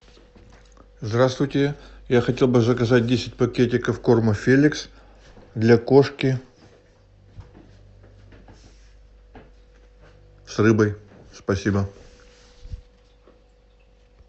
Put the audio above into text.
здравствуйте я хотел бы заказать десять пакетиков корма феликс для кошки с рыбой спасибо